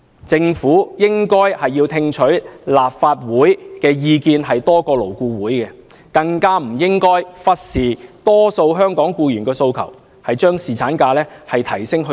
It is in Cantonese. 政府應該聽取立法會的意見多於勞顧會，更加不應忽視大多數香港僱員的訴求，理應把侍產假增加至7天。